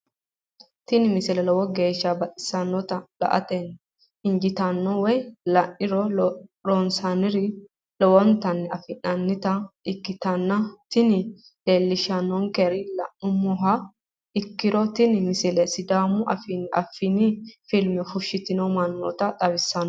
tini misile lowo geeshsha baxissannote la"ate injiitanno woy la'ne ronsannire lowote afidhinota ikkitanna tini leellishshannonkeri la'nummoha ikkiro tini misile sidaamu afii affini filme fushshitu mannoota xawissanno.